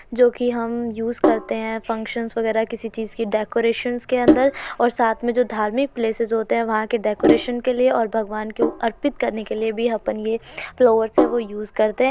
जोकि हम यूज करते हैं। फंक्शनस वगेरा किसी चीज की डेकोरेशनस के अंदर और साथ मे जो धार्मिक पलेसेस होते हैं और वहाँ के डेकोरेशनस के लिय और भगवान के अर्पित करने के लिय भी आपन ये फ्लोरस है वो यूज करते --